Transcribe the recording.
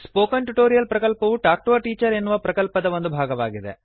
spoken tutorial ಪ್ರಕಲ್ಪವು talk to a teacher ಎನ್ನುವ ಪ್ರಕಲ್ಪದ ಒಂದು ಭಾಗವಾಗಿದೆ